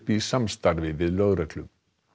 í samstarfi við lögreglu